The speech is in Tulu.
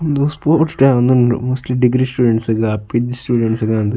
ಉಂದು ಸ್ಪೋರ್ಟ್ಸ್ ಡೇ ಆವೊಂದುಂಡು ಮೋಸ್ಟ್ಲಿ ಡಿಗ್ರಿ ಸ್ಟೂಡೆಂಟ್ಸ್ ಸ್ ಗ್ಲಾ ಪಿ.ಜಿ ಸ್ಟೂಡೆಂಟ್ಸ್ ಗಾ ಅಂದ್.